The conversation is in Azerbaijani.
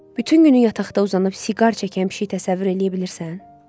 Bütün günü yataqda uzanıb siqar çəkən pişik təsəvvür eləyə bilirsən?